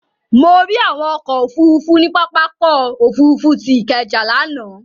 Mo rí àwọn ọkọ̀ òfurufú ní pápákọ̀ òfurufú tí Ikeja lánàá.